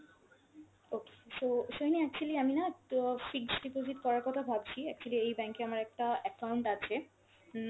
okay, so Sohini actually আমি না তো fixed deposit করার কথা ভাবছি, actually এই bank এ আমার একটা account আছে। উম